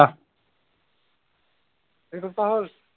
এক সপ্তাহ হ'ল।